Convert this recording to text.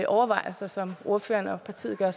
overvejelser som ordføreren og partiet gør